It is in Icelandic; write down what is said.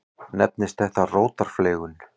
Nefnist þetta rótarfleygun.